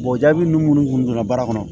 jaabi nunnu munnu kun donna baara kɔnɔ